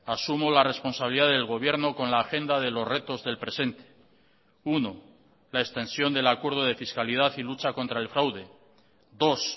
asumo la responsabilidad del gobierno con la agenda de los retos del presente uno la extensión del acuerdo de fiscalidad y lucha contra el fraude dos